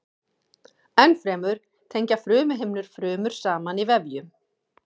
Ennfremur tengja frumuhimnur frumur saman í vefjum.